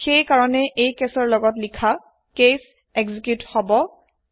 হেয় কাৰনে এই কেছৰ লগত লিখা কেচ এক্সিকিউত হব